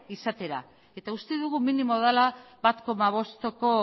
izatera eta uste dugu minimoa dela bat koma bosteko